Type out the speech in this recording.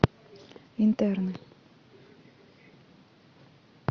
интерны